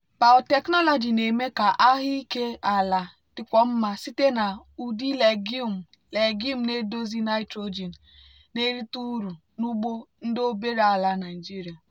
biotechnology na-eme ka ahụike ala dịkwuo mma site na ụdị legume legume na-edozi nitrogen na-erite uru n'ugbo ndị obere ala nigeria.